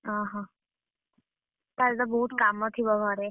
ଅହଃ କାଲିତ ବୋହୁତ କାମ ଥିବ ଘରେ?